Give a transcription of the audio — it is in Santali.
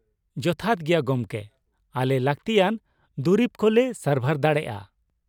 ᱡᱚᱛᱷᱟᱛ ᱜᱮᱭᱟ ᱜᱚᱢᱠᱮ ᱾ ᱟᱞᱮ ᱞᱟᱹᱠᱛᱤᱭᱟᱱ ᱫᱩᱨᱤᱵᱽ ᱠᱚ ᱞᱮ ᱥᱟᱨᱵᱷᱟᱨ ᱫᱟᱲᱮᱭᱟᱜᱼᱟ ᱾